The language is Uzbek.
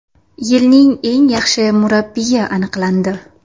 Yilning eng yaxshi murabbiyi aniqlandi.